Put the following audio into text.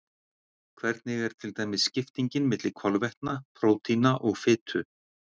Hvernig er til dæmis skiptingin milli kolvetna, prótína og fitu?